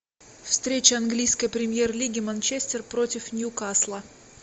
встреча английской премьер лиги манчестер против нью касла